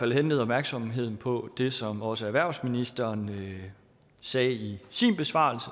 henlede opmærksomheden på det som også erhvervsministeren sagde i sin besvarelse